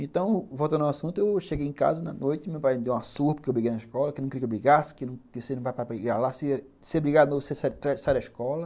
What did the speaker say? Então, voltando ao assunto, eu cheguei em casa na noite, meu pai me deu uma surra porque eu briguei na escola, que eu não queria que eu brigasse, que se eu brigasse, você saria da escola.